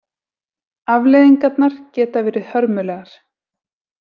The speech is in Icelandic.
Afleiðingarnar geta verið hörmulegar.